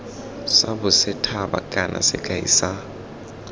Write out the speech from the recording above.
sa bosethaba kana sekai sa